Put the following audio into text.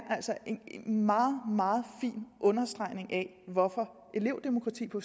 en meget meget fin understregning af hvorfor elevdemokrati på